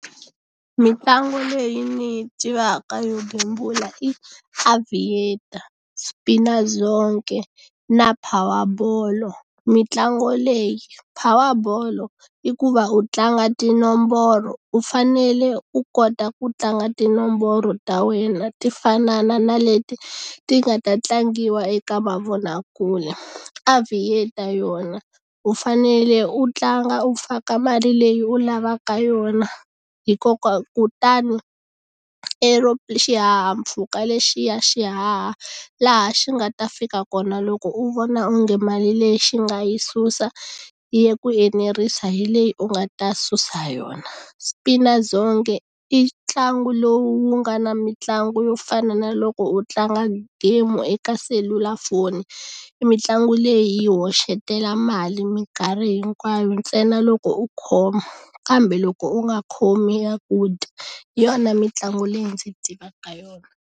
Mitlangu leyi ni yi tivaka yo gembula i Aviator, Spinazonke na Power bolo mitlangu leyi Power bolo i ku va u tlanga tinomboro u fanele u kota ku tlanga tinomboro ta wena ti fanana na leti ti nga ta tlangiwa eka mavonakule Aviator yona u fanele u tlanga u faka mali leyi u lavaka yona hikokwalaho kutani xihahampfhuka lexiya xihaha laha xi nga ta fika kona loko u vona onge mali leyi xi nga yi susa yi ku enerisa hi leyi u nga ta susa yona Spinazonke i ntlangu lowu nga na mitlangu yo fana na loko u tlanga game eka selulafoni i mitlangu leyi hoxetela mali minkarhi hinkwayo ntsena loko u khoma kambe loko u nga khomi ya ku dya hi yona mitlangu leyi ndzi tivaka yona.